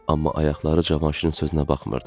Amma ayaqları Cavanşirin sözünə baxmırdı.